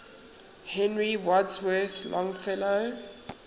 henry wadsworth longfellow